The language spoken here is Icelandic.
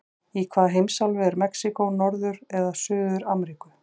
Í hvaða heimsálfu er Mexíkó, Norður- eða Suður-Ameríku?